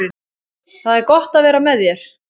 Það er gott að vera með þér.